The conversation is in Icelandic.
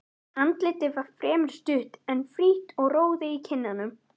Andlitið var fremur stutt, en frítt og roði í kinnum.